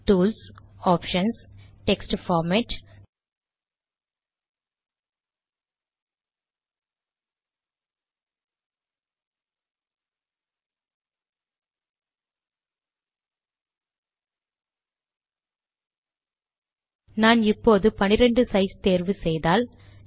tools options text format நான் இப்போது 12 size தேர்வு செய்தால்